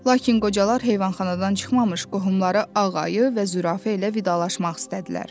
Lakin qocalar heyvanxanadan çıxmamış qohumları Ağ ayı və Zürafə ilə vidalaşmaq istədilər.